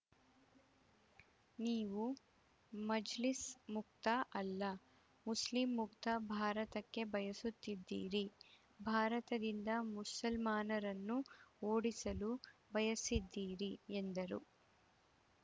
ನೀವು ಮಜ್ಲಿಸ್‌ ಮುಕ್ತ ಅಲ್ಲ ಮುಸ್ಲಿಂ ಮುಕ್ತ ಭಾರತಕ್ಕೆ ಬಯಸುತ್ತಿದ್ದೀರಿ ಭಾರತದಿಂದ ಮುಸಲ್ಮಾನರನ್ನು ಓಡಿಸಲು ಬಯಸಿದ್ದೀರಿ ಎಂದರು